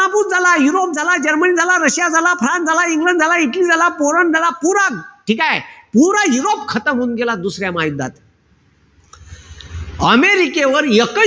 झाला, युरोप झाला, जर्मनी झाला, रशिया झाला, फ्रान्स झाला, इंग्लंड झाला, इटली झाला, पोलंड झाला, पुरा. ठीकेय? पुरा युरोप होऊन गेला दुसऱ्या महायुद्धात. अमेरिकेवर एकही,